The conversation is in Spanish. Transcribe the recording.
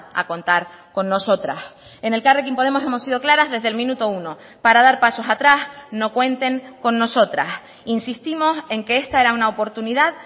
a contar con nosotras en elkarrekin podemos hemos sido claras desde el minuto uno para dar pasos atrás no cuenten con nosotras insistimos en que esta era una oportunidad